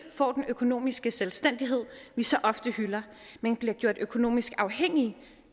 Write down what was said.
får den økonomiske selvstændighed vi så ofte hylder men bliver gjort økonomisk afhængige